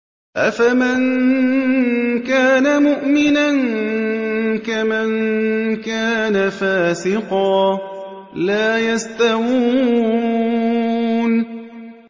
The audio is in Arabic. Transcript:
أَفَمَن كَانَ مُؤْمِنًا كَمَن كَانَ فَاسِقًا ۚ لَّا يَسْتَوُونَ